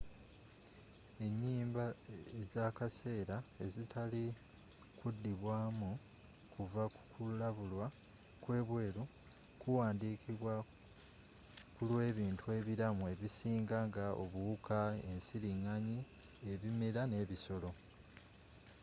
enyimba ezakaseera ezitali kudibwamu kuva kukulabulwa kwebweru kuwandikidwa kulwebintu ebiramu ebisinga nga obuwuka ensiringanyi ebimera n'ebisolo